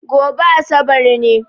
Gobe Asabar ne